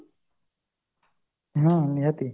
ହଁ ନିହାତି